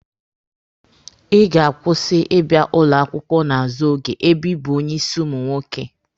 Ị ga-akwụsị ịbịa ụlọ akwụkwọ n'azụ oge ebe ị bụ onye ịsị ụmụ nwoke!